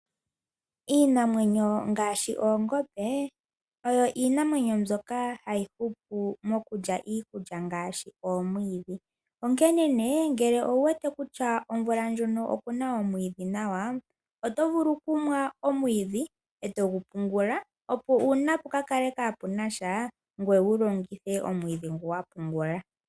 Iinamwenyo ngaashi oongombe oyo Iinamwenyo mbyoka hayi hupu mokulya iikulya ngaashi omwiidhi. Onkene nee ngele owu wete kutya omvula ndjono oku na omwiidhi nawa, oto vulu okumwa omwiidhi e to gu pungula, opo uuna puka kale kaapuna sha, ngoye wu longithe omwiidhi ngu wa pungula.